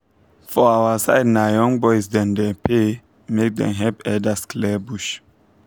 for our side na young boys dem dey pay make dem help elders clear bush